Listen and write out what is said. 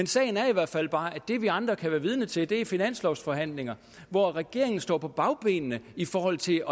sagen er i hvert fald bare at det vi andre kan være vidne til er finanslovsforhandlinger hvor regeringen står på bagbenene i forhold til